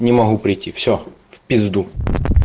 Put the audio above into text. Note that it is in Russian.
не могу прийти все в пизду